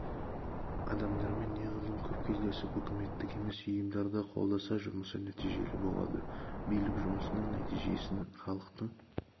адамдармен неғұрлым көп кездесіп үкіметтік емес ұйымдарды қолдаса жұмысы нәтижелі болады билік жұмысының нәтижесін халықтың